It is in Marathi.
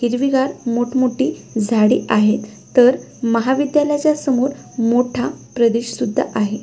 हिरवीगार मोठ मोठी झाडी आहेत तर महाविद्यालयाच्या समोर मोठा प्रदेशसुद्धा आहे.